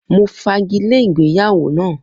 Mo fagile ìgbéyàwó na